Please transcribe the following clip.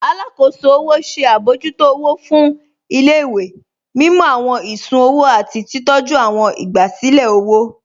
Àlàkóṣò ọwọ ṣẹ̀ abọ̀jútó ọwọ̀ fún ilẹ̀-ìwé, mímú awọn ìṣùn-ọwò àti titọ̀jú awọn ìgbàsílẹ̀ ọwọ.